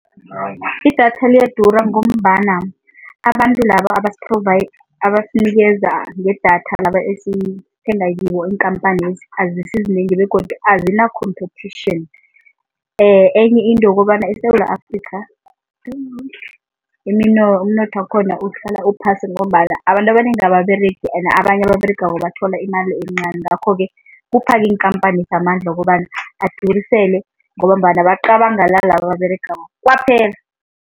Idatha liyadura ngombana abantu laba abasinikeza ngedatha, laba esithenga kibo, iinkhamphanezi azisizinengi begodu azina competition. Enye into ukobana eSewula Afrikha umnotho wakhona uhlala uphasi ngombana abantu abanengi ababeregi and abanye ababeregako bathola imali encani ngakho-ke iinkhamphani amandla wokobana adurisele ngombana bacabangela laba ababeregako kwaphela.